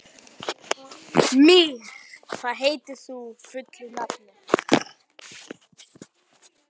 Mír, hvað heitir þú fullu nafni?